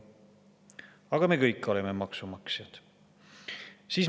Aga me kõik oleme maksumaksjad.